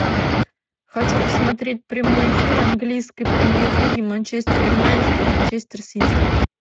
хочу посмотреть прямой эфир английской премьер лиги манчестер юнайтед и манчестер сити